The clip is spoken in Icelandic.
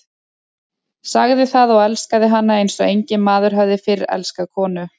Sagði það og elskaði hana eins og enginn maður hafði fyrr elskað konu.